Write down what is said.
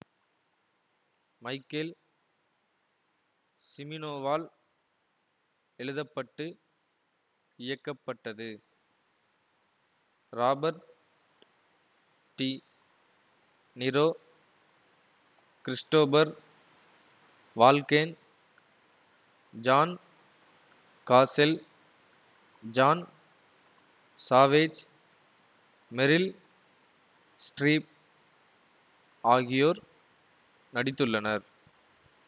Michael சிமீனோவால் எழுதுப்பட்டு இயக்கப்பட்டது Robert De Niro Christopher Walken John Cazale John Savage Meryl Streep ஆகியோர் நடித்துள்ளனர்